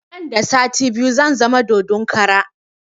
Nan da sati biyu zan zama dodon kara